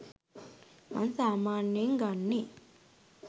මං සාමාන්‍යයෙන් ගන්නෙ